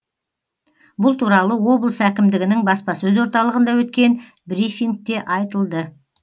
бұл туралы облыс әкімдігінің баспасөз орталығында өткен брифингте айтылды